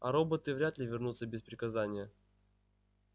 а роботы вряд ли вернутся без приказания